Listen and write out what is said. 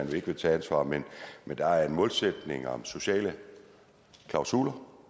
man ikke vil tage ansvar men der er en målsætning om sociale klausuler